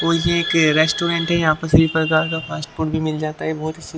और ये एक रेस्टोरेंट है यहाँ पर सभी प्रकार का फास्ट फूड भी मिल जाता है।